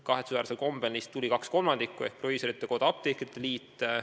Kahetsusväärsel kombel tuli neist kohale 2/3 ehk proviisorite koda ja apteekrite liit.